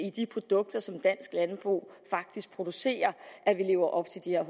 i de produkter som dansk landbrug faktisk producerer at vi lever op til de her